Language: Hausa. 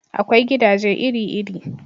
Akwai gidaje iri iri